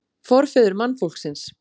Forfeður mannfólksins